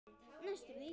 Næstum því.